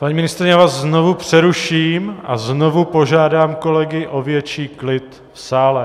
Paní ministryně, já vás znovu přeruším a znovu požádám kolegy o větší klid v sále.